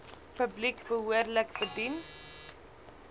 publiek behoorlik bedien